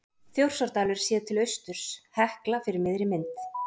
Þjórsárdalur séð til austurs, Hekla fyrir miðri mynd.